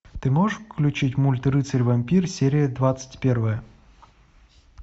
ты можешь включить мульт рыцарь вампир серия двадцать первая